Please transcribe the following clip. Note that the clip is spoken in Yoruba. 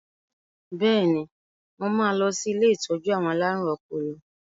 Bẹ́ẹ̀ni, mo máa lọ sí ilé ìtọ́jú àwọn alárùn ọpọlọ